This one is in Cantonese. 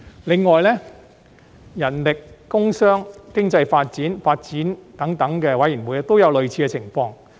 此外，人力、工商、經濟發展、發展等事務委員會也有類似的情況。